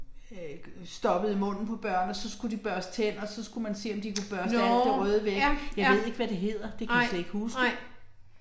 Øh stoppede i munden på børn og så skulle de børste tænder så skulle man se om de kunne børste alt det røde væk. Jeg ved ikke hvad det hedder, det kan jeg slet ikke huske